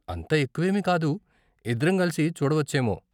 అంత ఎక్కువేమీ కాదు. ఇద్దరం కలిసి చూడవచ్చేమో.